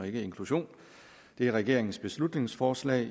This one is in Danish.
ikke inklusion det er regeringens beslutningsforslag